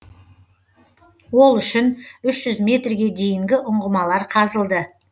ол үшін үш жүз метрге дейінгі ұңғымалар қазылды